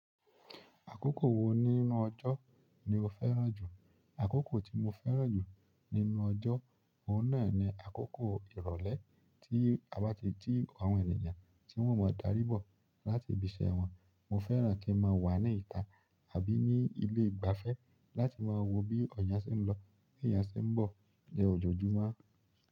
Àkókò wo nínú ọjọ́ ni o fẹ́ràn jù? Àkókò tí mo fẹ́ràn jù nínú ọjọ́, òun náà ni àkókò ìrọ̀lẹ́ tí a bá ti tí àwọn ènìyàn tí wọ́n ò mọ darí bọ̀ láti ibi iṣẹ́ wọn. Mo fẹ́ràn kí n máa wà ní ìta àbí ní ilé ìgbafẹ́ láti máa wo bí eeyàn ṣe ń lọ, bí eeyàn ṣe ń bọ̀ ní ọjọ́jùmọ́.